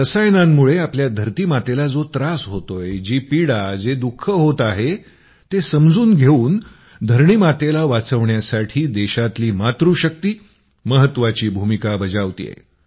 रसायनांमुळे आपला धरतीमातेला जो त्रास होतोय जी पीडा जे दुःख होत आहे ते समजून घेऊन धरणीमातेला वाचवण्यासाठी देशातली मातृशक्ती महत्त्वाची भूमिका बजावतेय